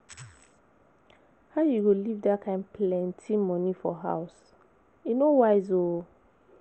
How you go leave dat kin plenty money for house? E no wise ooo.